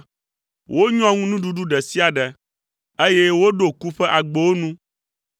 Wonyɔ ŋu nuɖuɖu ɖe sia ɖe, eye woɖo ku ƒe agbowo nu.